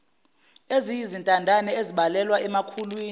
eziyizintandane ezibalelwa emakhulwini